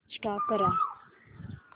stop करा